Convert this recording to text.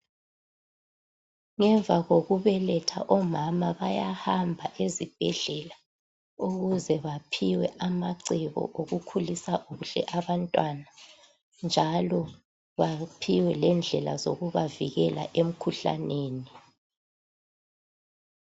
Ngemva kokubeletha, omama bayahamba ezibhedlela ukuze baphiwe amacebo okukhulisa kuhle abantwana njalo baphiwe lendlela zokubavikela emikhuhlaneni.